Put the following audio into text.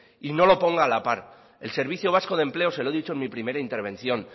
y no lo ponga a la par el servicio vasco de empleo se lo he dicho en mi primera intervención